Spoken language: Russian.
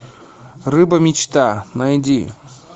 рыба мечта найди